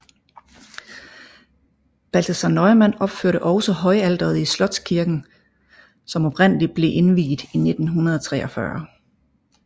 Balthasaar Neumann opførte også højalteret i slotskirken som oprindelig ble indviet i 1493